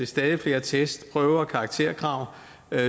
stadig flere test prøver og karakterkrav